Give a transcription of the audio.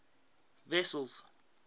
wessels